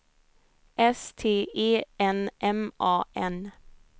S T E N M A N